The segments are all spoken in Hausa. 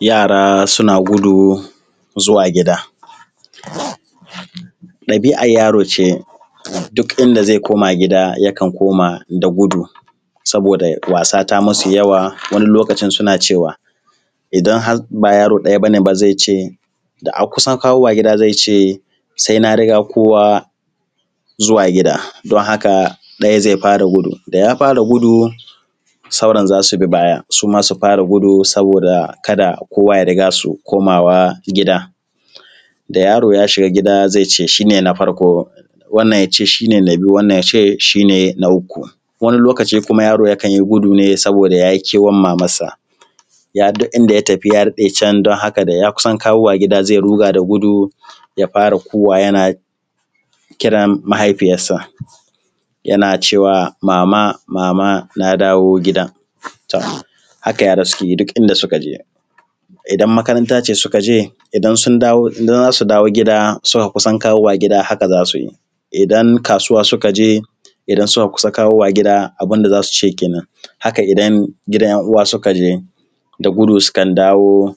yara suna gudu zuwa gida ɗabi’ar yaro ce duk inda zai koma gida yakan koma da gudu saboda wasa ta musu yawa wani lokacin suna cewa idan har ba yaro ɗaya ba ne ba zai ce da an kusa kawowa gida zai ce sai na riga kowa zuwa gida don haka ɗaya zai fara gudu da ya fara gudu sauran za su bi baya su ma su fara gudu saboda kada kowa ya riga su komawa gida da yaro ya shiga gida zai ce shi ne na farko wannan ya ce shi ne na biyu wannan ya ce shi ne na uku wani lokaci kuma yaro yakan yi gudu ne saboda ya yi kewar mamarsa ya ga duk inda ya tafi ya daɗe can don haka da ya kusa kawowa gida zai ruga da gudu ya fara kuwwa yana kiran mahaifiyarsa yana cewa mama mama na dawo gida to haka yara suke yi duk inda suka je idan makaranta ce suka je idan sun dawo idan za su dawo gida suka kusan dawowa gida haka za su yi idan kasuwa suka je idan suka kusa kawowa gida abin da za su ce kenan haka idan gidan ‘yan uwa suka je da gudu sukan dawo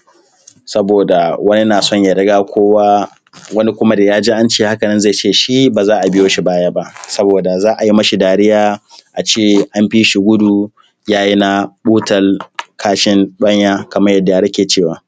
saboda wani na son ya riga kowa wani kuma da ya ji an ce haka nan zai ce shi ba za a biyo shi baya ba saboda za a yi mishi dariya a ce an fi shi gudu ya yi na ɓutal kashin ɗwanja kaman yadda yara ke cewa